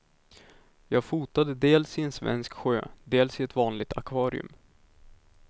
Jag fotade dels i en svensk sjö, dels i ett vanligt akvarium.